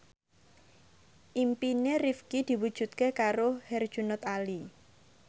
impine Rifqi diwujudke karo Herjunot Ali